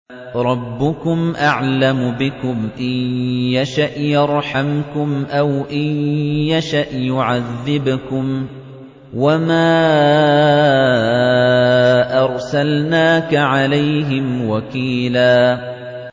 رَّبُّكُمْ أَعْلَمُ بِكُمْ ۖ إِن يَشَأْ يَرْحَمْكُمْ أَوْ إِن يَشَأْ يُعَذِّبْكُمْ ۚ وَمَا أَرْسَلْنَاكَ عَلَيْهِمْ وَكِيلًا